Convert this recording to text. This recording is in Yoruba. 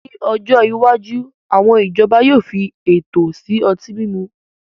Ní ọjọ́ iwájú, àwọn ìjọba yóò fi ètò sí ọtí mímu